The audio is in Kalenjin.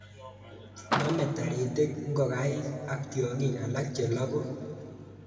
Name taritik ngokaik ak tiongik alak chelaku